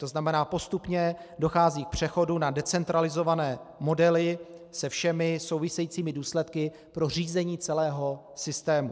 To znamená, postupně dochází k přechodu na decentralizované modely se všemi souvisejícími důsledky pro řízení celého systému.